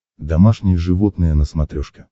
домашние животные на смотрешке